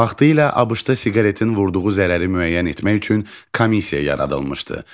Vaxtilə ABŞ-da siqaretin vurduğu zərəri müəyyən etmək üçün komissiya yaradılmışdı.